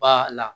Ba la